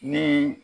Ni